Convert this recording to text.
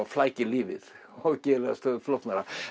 flækir lífið og gerir það stöðugt flóknara